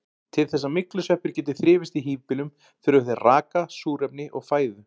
Til þess að myglusveppir geti þrifist í híbýlum þurfa þeir raka, súrefni og fæðu.